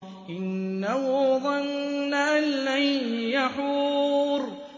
إِنَّهُ ظَنَّ أَن لَّن يَحُورَ